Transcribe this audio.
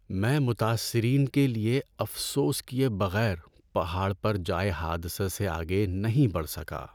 میں متاثرین کے لیے افسوس کیے بغیر پہاڑ پر جائے حادثہ سے آگے نہیں بڑھ سکا۔